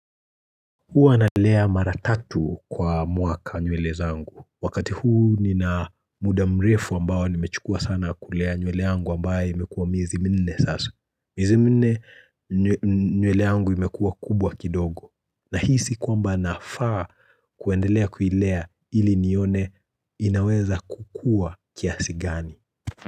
Huwa nalea mara tatu kwa mwaka nywele zangu, wakati huu nina muda mrefu ambao nimechukua sana kulea nywele yangu ambaye imekuwa miezi minne sasa, miezi minne nywele yangu imekuwa kubwa kidogo, nahisi kwamba nafaa kuendelea kuilea ili nione inaweza kukua kiasi gani.